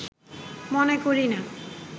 মনে করিনা